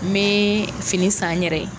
N bɛ fini san n yɛrɛ ye.